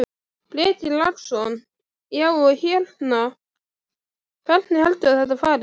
Breki Logason: Já, og hérna, hvernig heldurðu að þetta fari?